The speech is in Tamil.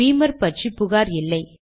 பீமர் பற்றி புகார் இல்லை